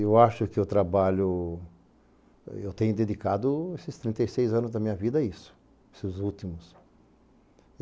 Eu acho que o trabalho... eu tenho dedicado esses trinta e seis anos da minha vida a isso, esses últimos.